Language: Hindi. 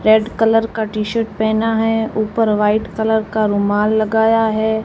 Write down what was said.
रेड कलर का टी शर्ट पहना है ऊपर व्हाइट कलर का रुमाल लगाया है।